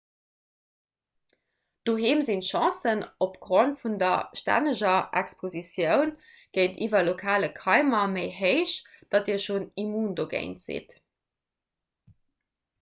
doheem sinn d'chancen opgrond vun der stänneger expositioun géintiwwer lokale keimer méi héich datt dir schonn immun dogéint sidd